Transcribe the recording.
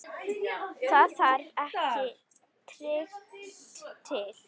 Það þarf ekki Tyrki til.